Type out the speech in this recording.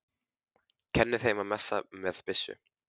Kenni þeim að messa með byssu?